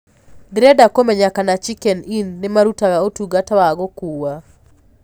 ndĩrenda kumenya kana chicken inn nĩmarũtaga ũtũngata wa gũkũwa